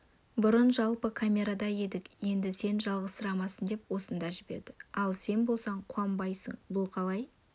бұрын жалпы камерада едік енді сен жалғызсырамасын деп осында жіберді ал сен болсаң қуанбайсың бұл қалай